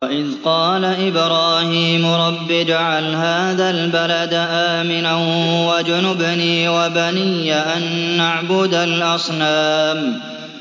وَإِذْ قَالَ إِبْرَاهِيمُ رَبِّ اجْعَلْ هَٰذَا الْبَلَدَ آمِنًا وَاجْنُبْنِي وَبَنِيَّ أَن نَّعْبُدَ الْأَصْنَامَ